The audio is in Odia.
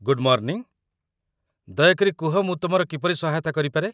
ଗୁଡ୍ ମର୍ଣ୍ଣିଙ୍ଗ, ଦୟାକରି କୁହ ମୁଁ ତୁମର କିପରି ସହାୟତା କରିପାରେ ?